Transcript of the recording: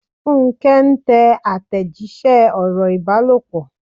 Funke ń tẹ àtẹ̀jíṣẹ́ ọ̀rọ̀ ìbálòpọ̀.